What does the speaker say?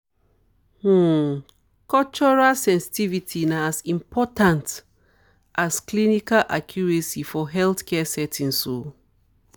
um cultural sensitivity na as important um as clinical accuracy for healthcare settings. um